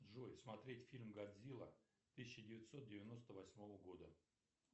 джой смотреть фильм годзилла тысяча девятьсот девяносто восьмого года